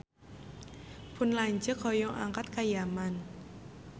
Pun lanceuk hoyong angkat ka Yaman